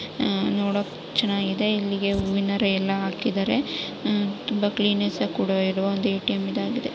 ಉ ನೋಡೊಕ್ಕೆ ಚನ್ನಾಗಿದೆ ಇಲ್ಲಿಗೆ ಹೂವಿನ ಹಾರ ಎಲ್ಲ ಹಾಕಿದರೆ ಉ ತುಂಬಾ ಕ್ಲೀನ್ನೆಸ್ ಕೂಡಿರುವ ಒಂದು ಎ_ಟಿ_ಎಮ್ ಇದಾಗಿದೆ.